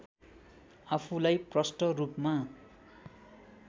आफूलाई प्रष्ट रूपमा